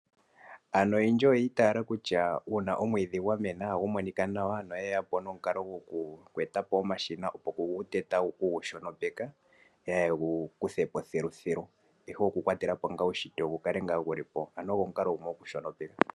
Aantu oyendji oya mo o kutya omwiidhi gwa mena nohagu monika nawa, noyeya po nomukalo gokweeta po omashina opo gu tetwe gu shonopekwe kaa ye gu kuthepo thiluthilu, ihe okukwatela po ngaa uushitwe wu kale wu li hwepo.